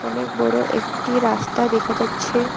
অনেক বড় একটি রাস্তা দেখা যাচ্ছে।